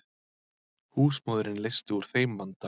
Húsmóðirin leysti úr þeim vanda.